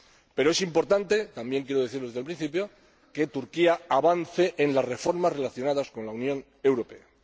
Pero es importante —y también quiero decirlo desde el principio— que Turquía avance en las reformas relacionadas con la Unión Europea.